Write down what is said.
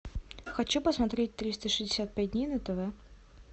хочу посмотреть триста шестьдесят пять дней на тв